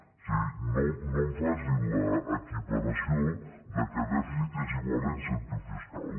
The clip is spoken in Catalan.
o sigui no em faci l’equiparació que dèficit és igual a incentiu fiscal